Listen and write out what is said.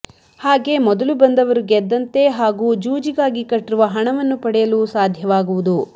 ಹಾಗೆ ಮೊದಲು ಬಂದವರು ಗೆದ್ದಂತೆ ಹಾಗು ಜೂಜಿಗಾಗಿ ಕಟ್ಟಿರುವ ಹಣವನ್ನು ಪಡೆಯಲು ಸಾಧ್ಯವಾಗುವುದು